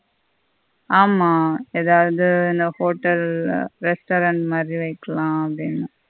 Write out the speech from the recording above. ஆமா எதாவது என்ன hotel ல restaurant மாதி வைக்கலாம் அப்படீன்னு